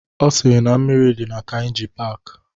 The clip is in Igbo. Ọ sịrị na mmiri dị na Kainji paaki